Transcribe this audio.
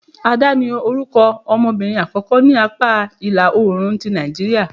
ADA, ni orukọ ọmọbirin akọkọ ni apa ila-oorun ti Nàìjíría..